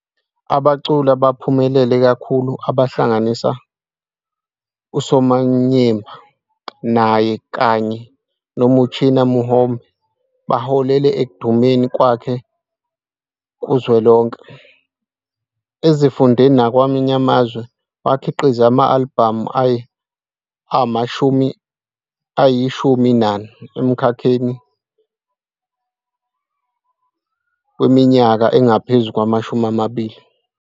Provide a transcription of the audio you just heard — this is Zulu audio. Abaculi abaphumelele kakhulu abahlanganisa "uSamanyemba", "Naye", kanye "noMuchina Muhombe" baholele ekudumeni kwakhe kuzwelonke, ezifundeni nakwamanye amazwe, wakhiqiza ama-albhamu ayi-14 emkhakheni weminyaka engaphezu kwamashumi amabili.